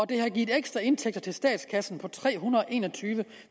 det har givet ekstra indtægter til statskassen på tre hundrede og en og tyve